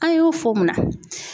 An y'u fo munna?